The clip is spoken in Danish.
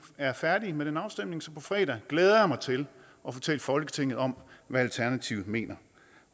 er færdige med den afstemning så på fredag glæder jeg mig til at fortælle folketinget om hvad alternativet mener